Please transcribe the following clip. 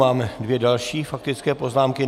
Máme dvě další faktické poznámky.